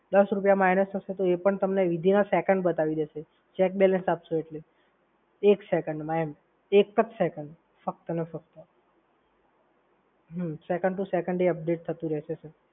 દસ રૂપિયા minus થશે તો તમને એ within a second બતાવી દેશે check balance આપશો એટલે. એક સએકોન્ડમાં એમ એક જ સેકંડ ફક્ત અને ફક્ત હમ second to second update થતું રહેશે સર.